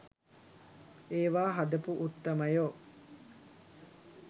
ඒවා හදපු උත්තමයෝ .